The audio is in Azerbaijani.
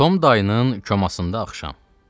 Tom dayının komasında axşam.